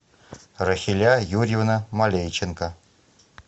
рахиля юрьевна малейченко